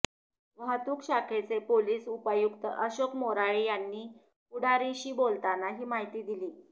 वाहतूक शाखेचे पोलिस उपायुक्त अशोक मोराळे यांनी पुढारीशी बोलताना ही माहिती दिली